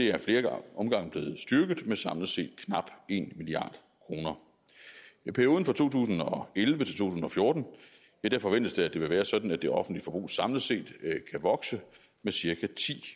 er ad flere omgange blevet styrket med samlet set knap en milliard kroner i perioden to tusind og elleve til fjorten forventes det at det vil være sådan at det offentlige forbrug samlet set kan vokse med cirka ti